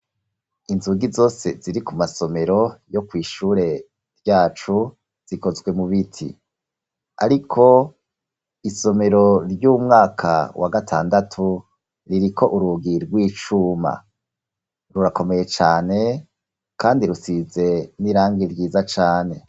Inzugi zose ziri ku masomero yo kw'ishure ryacu zikozwe mu biti, ariko isomero ry'umwaka wa gatandatu ririko urugi rw'icuma, rurakomeye cane, kandi rusize n'irangi ryiza cane.